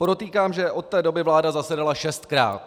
Podotýkám, že od té doby vláda zasedala šestkrát.